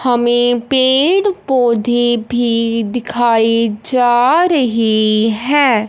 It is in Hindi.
हमें पेड़ पौधे भी दिखाई जा रही है।